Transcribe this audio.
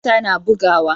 Zuciyata na bugawa.